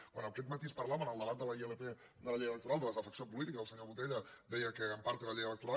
quan aquest matí es parlava en el debat de la ilp de la llei electoral de desafecció política el senyor botella deia que en part té la llei electoral